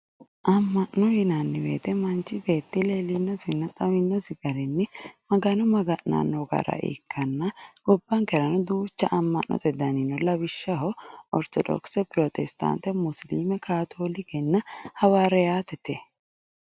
amma'no yinanni woyiite manchi leellinosinna xaweyoosi garinni magano maga'nanno doogo ikkanna gobbankera duuchu dani amma'no no lawishshaho ortodokise, pirotestaante, musiliime, katolikenna hawariyaatete